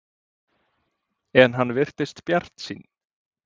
En hann virtist bjartsýnn.